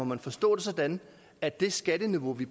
man forstå det sådan at det skatteniveau vi